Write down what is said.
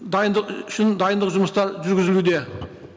дайындық үшін дайындық жұмыстары жүргізілуде